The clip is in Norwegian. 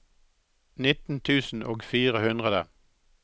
nitten tusen og fire hundre